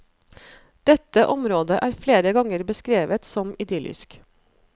Dette området er flere ganger beskrevet som idyllisk.